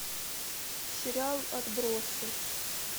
сериал отбросы